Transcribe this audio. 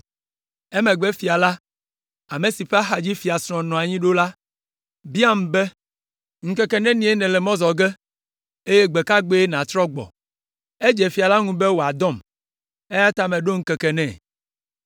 Emegbe fia la, ame si ƒe axadzi fiasrɔ̃ la nɔ anyi ɖo la biam be, “Ŋkeke nenie nèle mɔ zɔ ge, eye gbe ka gbee nàtrɔ agbɔ?” Edze fia la ŋu be wòadɔm, eya ta meɖo ŋkeke nɛ.